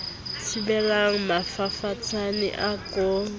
thibelang mafafatsane a ko bapatse